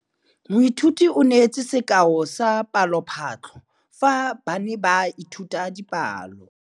Moithuti o neetse sekaô sa palophatlo fa ba ne ba ithuta dipalo.